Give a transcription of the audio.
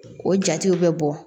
O jatew bɛ bɔ